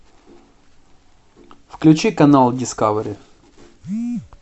включи канал дискавери